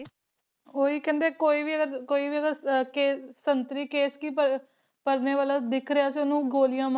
ਓਹੀ ਕਹਿੰਦੇ ਕੋਈ ਵੀ ਅਗਰ ਕੋਈ ਵੀ ਅਗਰ ਕੇਸ ਸੰਤਰੀ ਕੇਸ ਕਿ ਪਰਨੇ ਵਾਲਾ ਦਿੱਖ ਰਿਹਾ ਤੇ ਓਹਨੂੰ ਗੋਲੀਆਂ ਮਾਰ ਦੋ ਗੋਲੀਆਂ ਮਾਰ